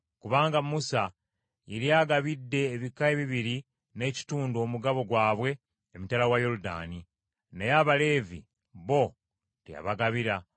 kubanga Musa yali agabidde ebika ebibiri n’ekitundu omugabo gwabwe emitala wa Yoludaani, naye Abaleevi bo teyabagabira;